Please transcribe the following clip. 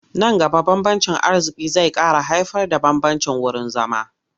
Nan gaba bambancin arziƙi zai ƙara haifarda bambancin wurin zama.